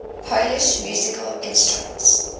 polish musical instruments